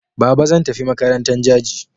Baba zan tafi makarantan Jaji.